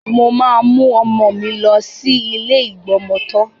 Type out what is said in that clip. Mo máa mú ọmọ mi lọ sí ilé ìgbọmọtọ́.